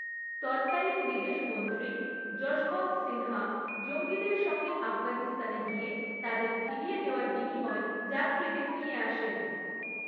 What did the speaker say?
তৎকালীন বিদেশমন্ত্রী যশবন্ত সিনহা জঙ্গিদের সঙ্গে আফগানিস্তানে গিয়ে তাদের ফিরিয়ে দেওয়ার বিনিময়ে যাত্রীদের নিয়ে আসেন।